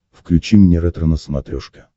включи мне ретро на смотрешке